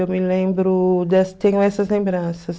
Eu me lembro, tenho essas lembranças.